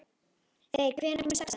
Þeyr, hvenær kemur sexan?